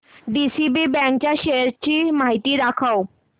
DCB bank च्या shares ची माहिती दाखव